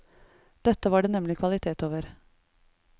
Dette var det nemlig kvalitet over.